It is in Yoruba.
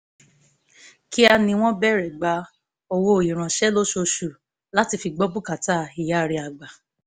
kíá ni wọ́n bẹ̀rẹ̀ gba owó ìránṣẹ́ lóṣooṣù láti fi gbọ́ bùkátà ìyá rẹ̀ àgbà